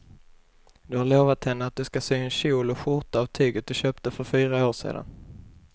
Du har lovat henne att du ska sy en kjol och skjorta av tyget du köpte för fyra år sedan.